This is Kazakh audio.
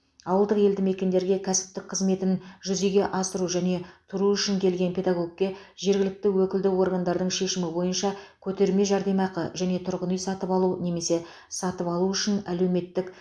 ауылдық елді мекендерге кәсіптік қызметін жүзеге асыру және тұру үшін келген педагогке жергілікті өкілді органдардың шешімі бойынша көтерме жәрдемақы және тұрғын үй сатып алу немесе салу үшін әлеуметтік